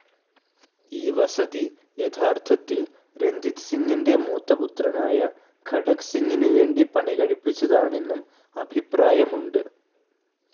ഈ വസതി യഥാർത്ഥത്തിൽ രഞ്ജിത് സിങ്ങിന്റെ മൂത്തപുത്രനായ ഖഡക് സിങ്ങിനു വേണ്ടി പണികഴിപ്പിച്ചതാണെന്നും അഭിപ്രായമുണ്ട്.